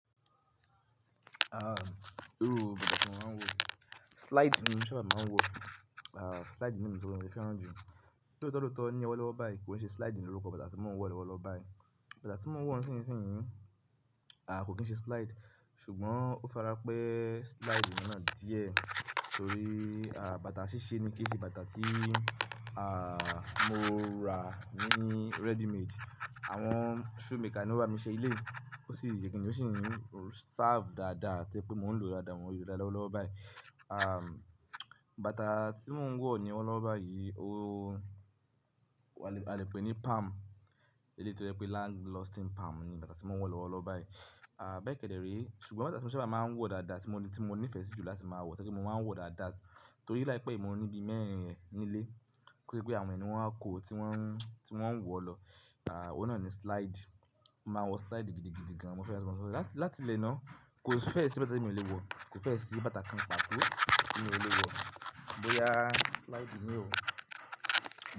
Ah, irú bàtà tí mo máa ń wọ, slide ni mo sábà máa ń wọ. Ah, slide ni mo ti fẹ́ràn jù. Lóòótọ́ lóòótọ́ ní ọwọ́ lọ́wọ́ bá yí kì í ṣe slide ni orúkọ bàtà tí mo ń wọ lọ́wọ́ lọ́ bá yí. Bàtà tí mo ń wọ nísinsìnyí, ah, kò kín ṣe slide ṣùgbọ́n ó fara pẹ́ slide náà díẹ̀ torí, ah, bàtà ṣíṣe ni kí í ṣe bàtà tí, ah, mo ra ní ready made. Àwọn shoemaker ni ó bá mi ṣe élẹ̀yi. Ó sì ṣe kín ní ó sì ń serve dáadáa pé mo ń lòó dáadáa mọ́ oyè dá lọ́wọ́ lọ́ bá èyí. Ah, bàtà tí mo ń wọ ní ọwọ́ lọ́wi báyí ó-- a lè pè ní palm. Èleyí tó jẹ́ pé long lasting palm ni bàtà tí mo ń wọ lọ́wọ́ lọ́ bá èyí. Ah, bẹ́ẹ̀ kẹ́dẹ̀ ré. Ṣùgbọ́n bàtà tí mo sábà máa ń wọ dáadáa tí mo ní- tí mo nífẹ̀ẹ́ sí jùlọ tí mo máa wọ̀, tí mo máa ń wọ dáadáa torí láìpẹ́ mó ní bi mẹ́rin rẹ̀ nílé kí pé àwọn ẹni wọn á kó tí wọ́n- tí wọ́n ń wọ lọ. Ah, ọ̀oun nà ni slide. Mo máa ń wọ slide gidi gidi gan. Mo fẹ́ràn slide gan. Láti lẹ́ná, kò fẹ́ ṣe iru e tí mo lè wọ. Kò fẹ́ ṣe bàtà kan pàtó tí mo lè wọ. Bo ya slide ni o.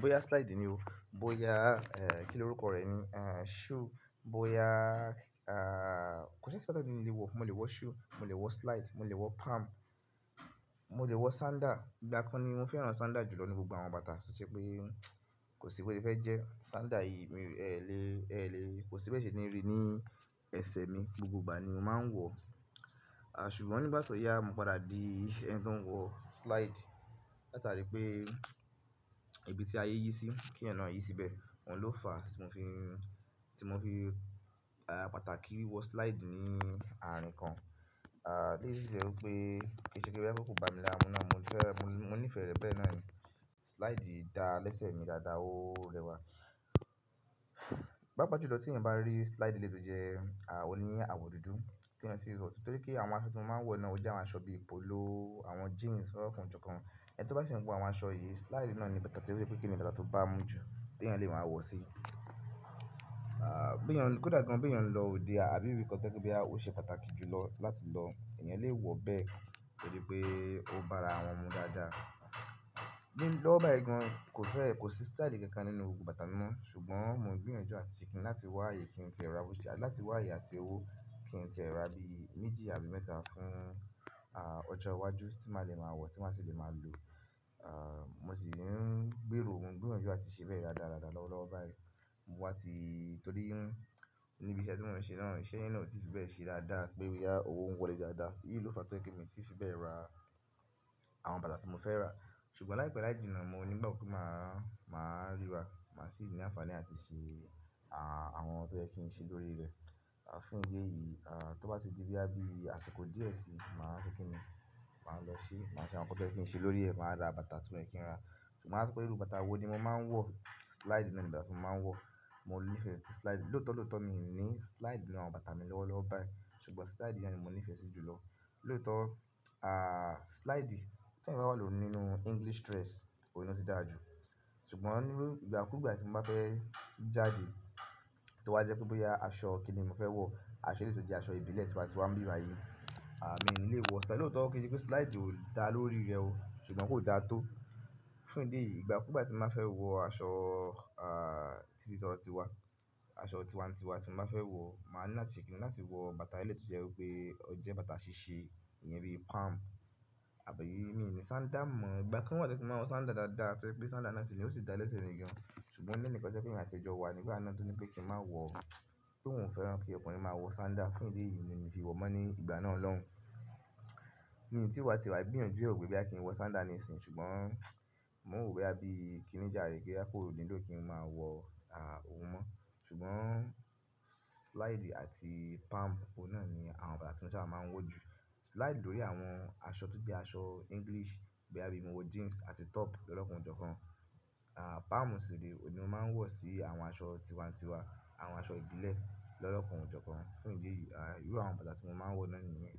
Bo ya slide ni o. Bo ya, eh, kí ni orúkọ rẹ̀ ni? Ah, shoe. Bo ya, ah, kò ṣe pé bàtà ni ìdílé wọ. Mo lè wọ shoe, mo lè wọ slide, mo lè wọ palm, mo lè wọ sandal. Ìgbà kan ni mo fẹ́ràn sandal jù lọ nínú gbogbo àwọn bàtà tọṣẹ pé kò sí pé ó lè fẹ́ jẹ́. Sandal yìí mi, ẹ lè- ẹ lè, kò sí bẹ́ẹ̀ ṣe ni rí ní ẹsẹ̀ mi. Gbogbo ìgbà ni mo máa ń wọ. Ah, ṣùgbọ́n nígbà tó ya mo padà di ẹni tí ó ń wọ slide. Látarí pé ibi tí ayé yí sí, kí ẹeyan na yí síbẹ̀, òun ló fa tí mo fi- tí mo fi, ah, pàtàkì wọ slide ní àárín kan. Ah, léyìí ṣì ṣe wí pé kẹ́ṣẹ̀kẹ́ṣẹ̀ kí ó kó ba mi lára mu náà mo fẹ́- mo nífẹ̀ẹ́ rẹ bẹ́ẹ̀ náà ni. Slide dá lẹ́sẹ̀ mi dáadáa óò lẹ́wà. Pá pàju lọ́ tí ń bá rí slide létò jẹ, ah, ó ní àwọ̀ dúdú tí ẹ ní o lè wọ̀. Torí kí àwọn aṣọ tí mo máa ń wọ̀ náà ó jẹ́ àwọn aṣọ bíi polo, àwọn jeans lọ́kàn jókàn. Ẹni tó bá sì ń wo àwọn aṣọ yìí, slide náà ni bàtà tí ó ṣe pé kí ni bàtà tó bá mú ju tí ẹryàn lè máa wọ̀ sí. Ah, bí ẹyan kò dà gan bí ẹeyan lo òde àbí ibí kan tọ́ jẹ́ pe boya ó ṣe pàtàkì jù lọ láti lọ, ẹnìyàn lè wọ̀ bẹ́ẹ́ torí pé ó bá ara àwọn ọmu dáadáa. Mi ló bá ẹ gan, kò fẹ́- kò sí style kankan nínú gbogbo bàtà mi máà. Ṣùgbọ́n mo gbìyànjú àti sì kín láti wá ààyè kí n tí ẹ ra ó ṣe àbí láti wá ààyè àti owó kí n tí ẹ ra bí méjì àbí mẹ́ta fún, ah, ọjọ́ iwájú tí màá le máa wọ̀, tí màá sì le máa lò. Ah, mo sì ń gbèrò óun, gbìyànjú àti ṣẹ bẹ́ẹ̀ dáadáa lọ́wọ́ lọ́wo bá yí. Mo wá ti-- torí níbi iṣẹ́ tí mò ń ṣe náà, iṣẹ́ ìná tí fi bẹ́ẹ̀ ṣe dáadáa pé ó ya owó ń wọlé dáadáa. Èyí ló fa to je mi ti fi bẹ́ẹ̀ ra àwọn bàtà tí mo fẹ́ rà. Ṣùgbọ́n láìpẹ́ láì jìnnà, mo nígbàgbo pe máa- máa ríra, máa sì ní àǹfààní àti ṣe, ah, àwọn tó jẹ́ kí n ṣe lórí rẹ̀. Ah, fún ìdí èyí, ah, tó bá ti di bí a bí àṣìkò díẹ̀ sí, màá sọ kín ni, màá lọ ṣe, màá ṣe àwọn nǹkan tó jẹ́ kí n ṣe lórí rẹ̀, màá ra bàtà tí ó yẹ kí n rà. Ṣùgbọ́n à sọ pé irú bàtà wo ni mo máa ń wọ̀? Slide ni bàtà tí mo máa ń wọ̀. Mo nífẹ̀ẹ́ sí slide. Lóòótọ́ lóòótọ́ mi ò ní slide nínú àwọn bàtà mi lọ́wọ́ lọ́ bá èyí. Ṣùgbọ́n slide ni mo nífẹ̀ẹ́ sí jù lọ. Lóòótọ́, ah, slide tí ẹnì bá wọ̀ lóòótọ́ nínú English dress, òun ló ti dára jù. Ṣùgbọ́n níbi ìgbà kú ìgbà tí mo bá fẹ́ jáde, tó wá jẹ́ pé bó ya aṣọ kí ni mo fẹ́ wọ̀, aṣọ létò jẹ́ aṣọ ìbílẹ̀ tí wọ́n ti wá ń bíra yìí, ah, mi ò lè wọ. Ṣé lóòótọ́ kí n pé slide ó dá lórí rẹ̀ ó ṣùgbọ́n kò da tó. Fún ìdí èyí, ìgbà kú ìgbà tí mo bá fẹ́ wọ aṣọ, ah, tí ó ti sọ̀rọ̀ tiwa, aṣọ tiwa-tiwa tí mo bá fẹ́ wọ, màá ní àtìsẹ̀kìnní láti wọ bàtà elẹ̀ tó jẹ́ wí pé ó jẹ́ bàtà ṣíṣe ìyẹn bíi palm. Àbí mi ò ní sandal mọ̀. Ìgbà kan wà tí mo maa n a wo sandal dáadáa tí jẹ pé sandal náà sì ní ó sì dá lẹ́sẹ̀ mi gan. Moni enikan tọ je pé emi àti e jọ wa nígbà náà tó ní pé kí n má wọ̀, kí òun fẹ́ràn kí ọkùnrin máa wọ sandal. Fún ìdí yìí ni èmi fi wọ̀ mọ́ ní ìgbà náà lọ́hùn. Ní ìgbà tí wá tiwa gbìyànjú òwe pé bá kí n wọ sandal ní ìsìn ṣùgbọ́n mò ń wò ó bí i kíníjà rè kí a kò nílò nínú tó kí n máa wọ, ah, òun mọ́. Ṣùgbọ́n slide àti palm, ọ̀nà ni àwọn bàtà tí mo sábà máa ń wọ̀ jù. Slide lórí àwọn aṣọ tó jẹ́ aṣọ English bí i bá bí mo wọ jeans àti top lọ́kàn jókàn. Ah, palm sì ní n mo máa ń wọ̀ sí àwọn aṣọ tiwa-tiwa, àwọn aṣọ ìbílẹ̀ lọ́kàn jókàn. Fún ìdí èyí, ah, irú àwọn bàtà tí mo máa ń wọ̀ náà nìyẹn.